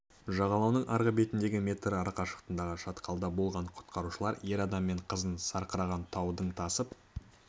жағалауының арғы бетіндегі метр арақашықтықтағы шатқалда болған құтқарушылар ер адам мен қызын сарқыраған таудың тасып